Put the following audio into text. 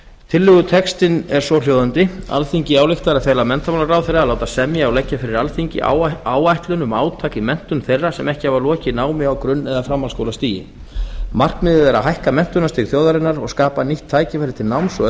tillögutextinn er svohljóðandi alþingi ályktar að fela menntamálaráðherra að láta semja og leggja fyrir alþingi áætlun um átak um menntun þeirra sem ekki sem ekki hafa lokið námi á grunn eða framhaldsskólastigi markmiðið er að hækka menntunarstig þjóðarinnar og skapa nýtt tækifæri til náms og